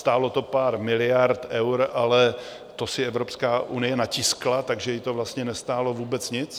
Stálo to pár miliard eur, ale to si Evropská unie natiskla, takže ji to vlastně nestálo vůbec nic.